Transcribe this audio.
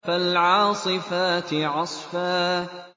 فَالْعَاصِفَاتِ عَصْفًا